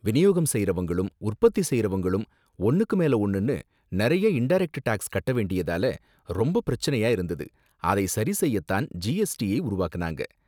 விநியோகம் செய்றவங்களும் உற்பத்தி செய்றவங்களும் ஒன்னுக்கு மேல ஒன்னுனு நிறைய இன்டரக்ட் டேக்ஸ் கட்ட வேண்டியதால ரொம்ப பிரச்சனையா இருந்தது, அதை சரி செய்ய தான் ஜிஎஸ்டியை உருவாக்குனாங்க.